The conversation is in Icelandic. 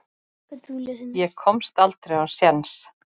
Ég komst aldrei á séns.